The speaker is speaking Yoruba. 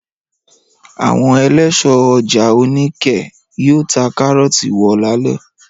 Àwọn eléso ọjà Oníkẹ̀ẹ́ yóò ta kárọ́tì wo lálẹ́.